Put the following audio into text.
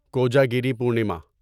Kojagiri Purnima